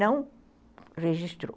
Não registrou.